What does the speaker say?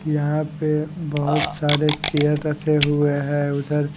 यहां पे बहुत सारे चेयर रसे हुए हैं उधर--